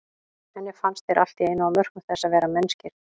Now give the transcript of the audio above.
Henni fannst þeir allt í einu á mörkum þess að vera mennskir.